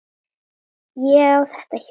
Ég á þetta hjól!